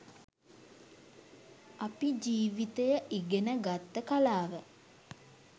අපි ජිවිතය ඉගෙන ගත්ත කලාව